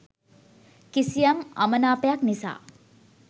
කිසියම් අමනාපයක් නිසා